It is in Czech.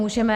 Můžeme.